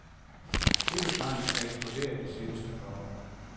Købetrangen er eksploderet det seneste par år.